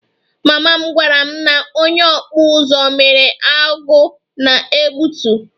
Mama m gwara m na onye okpu uzu mere ọgụ na egbutu